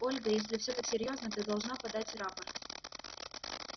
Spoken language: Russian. ольга если все так серьёзно ты должна подать рапорт